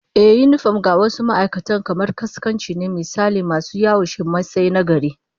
Ehh, yinifom ga wasu ma'aikatan kamar kaskanci ne, misali masu yaushe Masai na gari